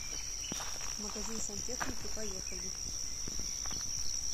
магазин сантехники поехали